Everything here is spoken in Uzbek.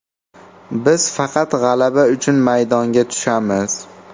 Biz faqat g‘alaba uchun maydonga tushamiz.